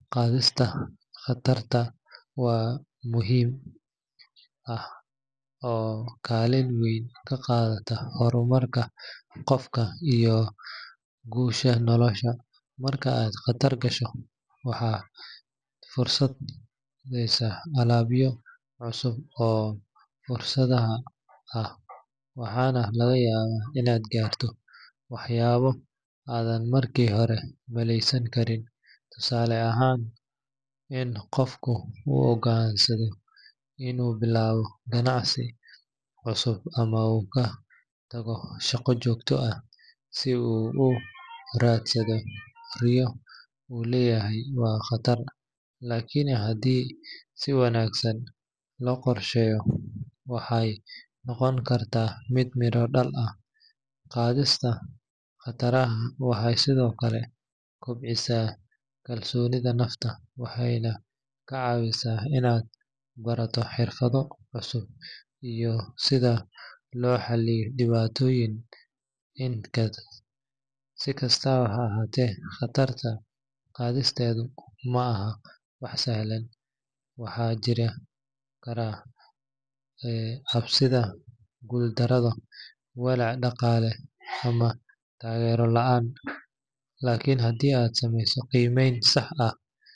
Qaadista khatarta waa arrin muhiim ah oo kaalin weyn ka qaadata horumarka qofka iyo guusha nolosha. Marka aad khatar gasho, waxaad furaysaa albaabyo cusub oo fursado ah, waxaana laga yaabaa inaad gaarto waxyaabo aadan markii hore maleysan karin. Tusaale ahaan, in qof uu go'aansado inuu bilaabo ganacsi cusub ama uu ka tago shaqo joogto ah si uu u raadsado riyo uu leeyahay waa khatar, laakiin haddii si wanaagsan loo qorsheeyo, waxay noqon kartaa mid miro dhal ah. Qaadista khataraha waxay sidoo kale kobcisaa kalsoonida nafta, waxayna kaa caawisaa inaad barato xirfado cusub iyo sida loo xalliyo dhibaatooyinka. Si kastaba ha ahaatee, khatarta qaadisteedu ma ahan wax sahlan. Waxaa jiri kara cabsida guuldarro, walaac dhaqaale ama taageero la’aan. Laakiin haddii aad samayso qiimeyn sax ah.